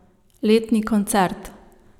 Letni koncert.